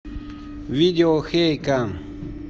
видео хейекан